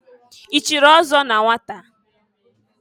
I chiri ọzọ na nwata?